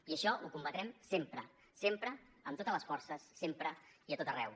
i això ho combatrem sempre sempre amb totes les forces sempre i a tot arreu